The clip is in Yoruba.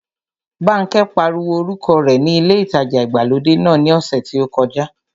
Bánkẹ́ pariwo orúkọ rẹ ní ilé ìtajà ìgbàlódé náà ní ọ̀sẹ̀ tí ó kọjá